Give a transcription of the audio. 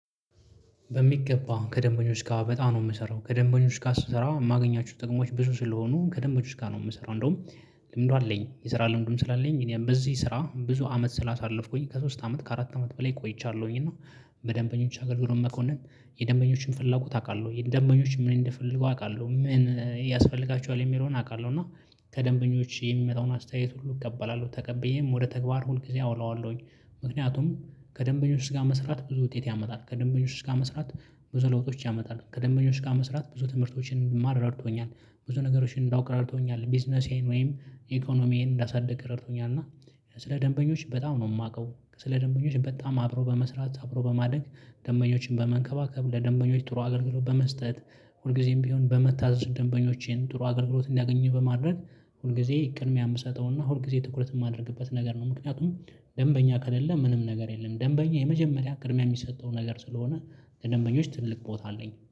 በሚገባ ከደንበኞች ጋር በጣም ነው ምሰራው ከደንበኞች ጋር ስሰራ የማገኛችሁ ጥቅሞች ብዙ ስለሆኑ ከደንበኞች ጋር ነው የምሰራው እንደውም ልምዱ አለኝ የስራ ልምዱም ስላለኝ እኔ በዚህ ስራ ብዙ አመት ስላሳለፍኩኝ ከሶስት አመት ከአራት አመት በላይ ቆይቻለሁኝ። እና በደንበኞች አገልግሎት መኮነን የደንበኞችን ፍላጎት አውቃለሁ የደንበኞች ምን እንደፈለጉ አውቃለሁ ምን ያስፈልጋችኋል የሚለውን አውቃለሁ እና ከደንበኞች የሚመጣውን አስተያየት ሁሉ እቀበላለሁ ተቀብዬም ወደ ተግባር ሁል ጊዜ አውለዋለሁኝ። ምክንያቱም ከደንበኞች ጋር መስራት ብዙ ውጤት ያመጣል ከደንበኞች ጋር መስራት ብዙ ለውጦች ያመጣል ከደንበኞች ጋር መስራት ብዙ ትምህርቶችን እንድማር ረድቶኛል። ብዙ ነገሮችን እንዳውቅ ረድቶኛል። ቢዝነሴን ወይም ኢኮኖሚዬን እንዳሳደግ ረድቶኛል። እና ስለ ደንበኞች በጣም ነው የማውቀው ስለ ደንበኞች በጣም አብሮ በመስራት አብሮ በማደግ። በመንከባከብ ለደንበኞች ጥሩ አገልግሎት በመስጠት ሁልጊዜም ቢሆን በመታዘዝ ደንበኞቼን ጥሩ አገልግሎት እንዲያገኝ በማድረግ። ሁልጊዜ ቅድሚያ የምሰጠው እና ሁል ጊዜ ትኩረት የማደርግበት ነገር ነው። ምክንያቱም ደንበኛ ከሌለ ምንም ነገር የለም። ደንበኛ የመጀመሪያ ቅድሚያ የሚሰጠው ነገር ስለሆነ ልድደንበኞች ትልቅ ቦታ አለኝ